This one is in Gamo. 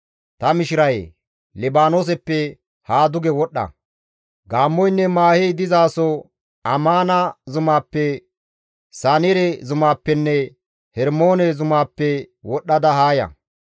Ta mishirayee! Libaanooseppe haa duge wodhdha; gaammoynne maahey dizaso Amaana zumaappe, Sanire zumappenne Hermoone zumaappe wodhdhada haa ya.